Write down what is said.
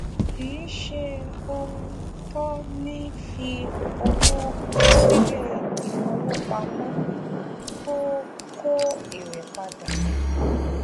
kì í ṣe ohun tọ ni fí owó síle ìfowópamọ tó kó èrè padà